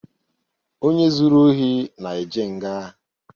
Onye zuru ohi na-eje nga.